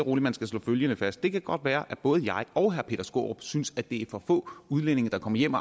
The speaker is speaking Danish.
og roligt skal slå følgende fast det kan godt være at både jeg og herre peter skaarup synes at det for få udlændinge der kommer hjem